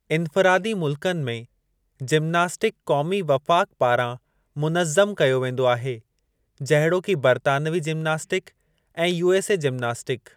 इन्फ़िरादी मुल्कनि में, जिमनास्टिक क़ौमी वफ़ाक़ पारां मुनज़्ज़म कयो वेंदो आहे जहिड़ोकि बर्तानवी जिमनास्टिक ऐं यू एस ए जिमनास्टिक।